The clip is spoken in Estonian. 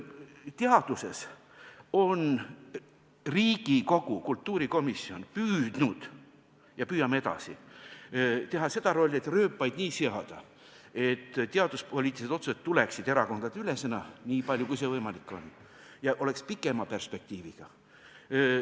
Teaduse puhul on Riigikogu kultuurikomisjon püüdnud ja püüab edasi kanda seda rolli, et rööpaid nii seada, et teaduspoliitilised otsused tuleksid erakondadeülesena, nii palju kui see võimalik on, ja oleks pikema perspektiiviga.